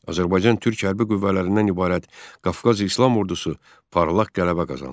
Azərbaycan-Türk hərbi qüvvələrindən ibarət Qafqaz İslam Ordusu parlaq qələbə qazandı.